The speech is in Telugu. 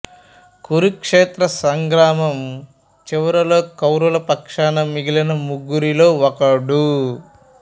కురుక్షేత్ర సంగ్రామం చివరిలో కౌరవుల పక్షాన మిగిలిన ముగ్గురిలో ఒకడు